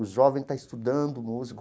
O jovem está estudando música.